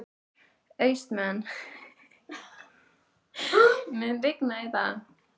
Austmann, mun rigna í dag?